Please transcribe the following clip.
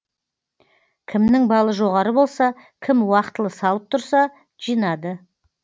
кімнің балы жоғары болса кім уақытылы салып тұрса жинады